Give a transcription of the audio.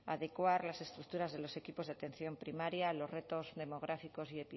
adecuar las estructuras de los equipos de atención primaria los retos demográficos y